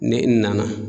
Ni i nana